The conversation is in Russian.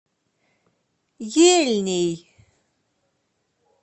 ельней